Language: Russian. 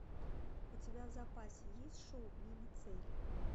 у тебя в запасе есть шоу мимо цели